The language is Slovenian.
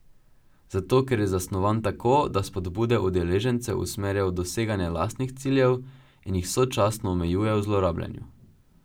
Zato, ker je zasnovan tako, da spodbude udeležencev usmerja v doseganje lastnih ciljev in jih sočasno omejuje v zlorabljanju.